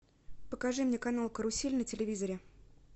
покажи мне канал карусель на телевизоре